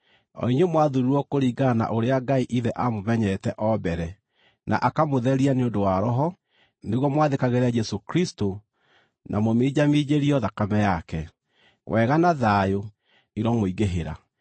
o inyuĩ mwathuurirwo kũringana na ũrĩa Ngai Ithe aamũmenyete o mbere, na akamũtheria nĩ ũndũ wa Roho, nĩguo mwathĩkagĩre Jesũ Kristũ, na mũminjaminjĩrio thakame yake: Wega na thayũ iromũingĩhĩra.